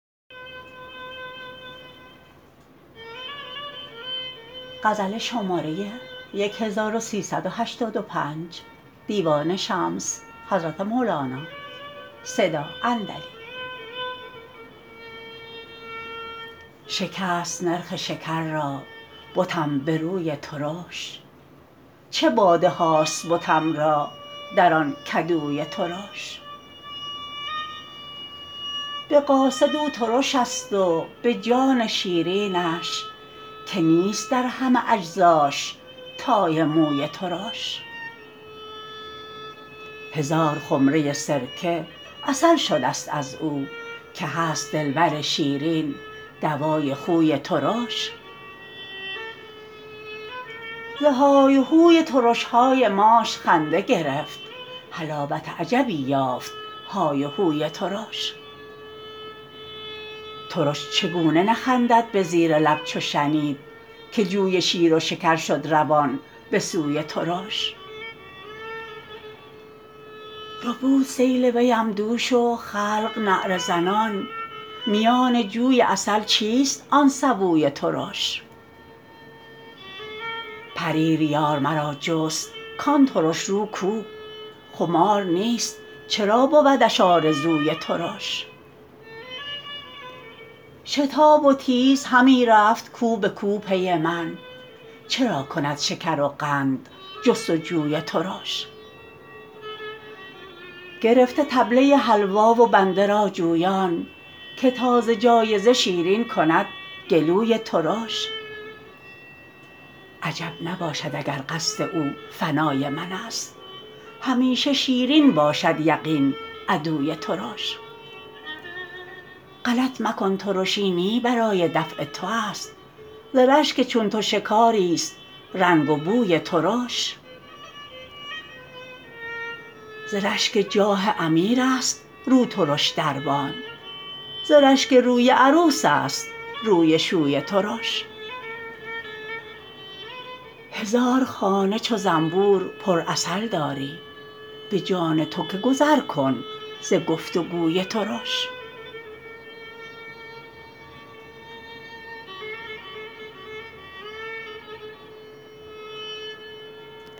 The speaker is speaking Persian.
شکست نرخ شکر را بتم به روی ترش چه باده هاست بتم را در آن کدوی ترش به قاصد او ترشست و به جان شیرینش که نیست در همه اجزاش تای موی ترش هزار خمره سرکه عسل شدست از او که هست دلبر شیرین دوای خوی ترش زهای و هوی ترش های ماش خنده گرفت حلاوت عجبی یافت های و هوی ترش ترش چگونه نخندد به زیر لب چو شنید که جوی شیر و شکر شد روان به سوی ترش ربود سیل ویم دوش و خلق نعره زنان میان جوی عسل چیست آن سبوی ترش پریر یار مرا جست کان ترش رو کو خمار نیست چرا بودش آرزوی ترش شتاب و تیز همی رفت کو به کو پی من چرا کند شکرقند جست و جوی ترش گرفته طبله حلوا و بنده را جویان که تا ز جایزه شیرین کند گلوی ترش عجب نباشد اگر قصد او فنای منست همیشه شیرین باشد یقین عدوی ترش غلط مکن ترشی نی برای دفع توست ز رشک چون تو شکاریست رنگ و بوی ترش ز رشک جاه امیرست روترش دربان ز رشک روی عروس است روی شوی ترش هزار خانه چو زنبور پرعسل داری به جان تو که گذر کن ز گفت و گوی ترش